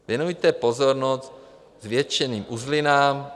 Věnujte pozornost zvětšeným uzlinám.